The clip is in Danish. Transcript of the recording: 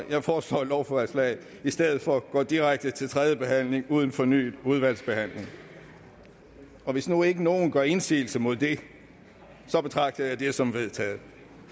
jeg foreslår at lovforslaget i stedet for går direkte til tredje behandling uden fornyet udvalgsbehandling og hvis nu ikke nogen gør indsigelse mod det betragter jeg det som vedtaget